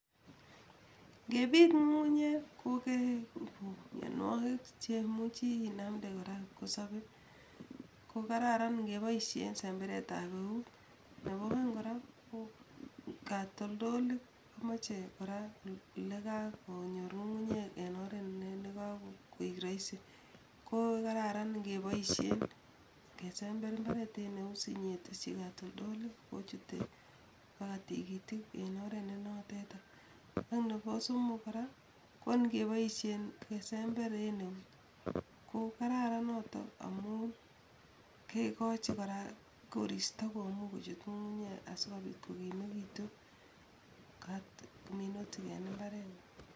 Ngepiit ngungunyek kokekuu mianwokik chemuchi inamnde kora kipkosope kokararan kepoishen semberetab euut, ako kan kora ko katoldolik komache kora olekakonyor ngungunyek eng oret nekakoek raisi , ko kararan kepoishen kesember imbaret en eut sinyeteshi katoldolik kochute mpaka tigitik en oret nenotetak , any nebo somok kora ngony kepoishen kesember en eut ko kararan noto amun kekochi kora koristo komuch kochut ngungunyek asikopit kokimekitu minutik en imbaret.